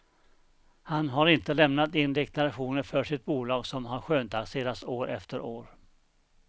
Han har inte lämnat in deklarationer för sitt bolag som har skönstaxerats år efter år.